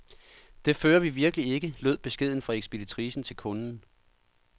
Det fører vi virkelig ikke, lød beskeden fra ekspeditricen til kunden.